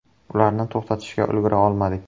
Ularni to‘xtatishga ulgura olmadik.